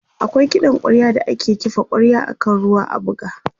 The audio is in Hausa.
akwai kiɗan kwarya da ake kifa kwarya akan ruwa a buga t